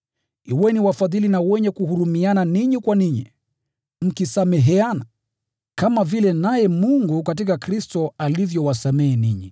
Kuweni wafadhili na wenye kuhurumiana ninyi kwa ninyi, mkisameheana, kama vile naye Mungu katika Kristo alivyowasamehe ninyi.